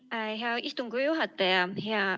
Aitäh, hea istungi juhataja!